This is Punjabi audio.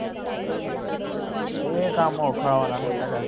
ਇਹ ਕੰਮ ਔਖਾ ਹੋਣਾ ਫੇਰ ਤੁਹਾਡਾ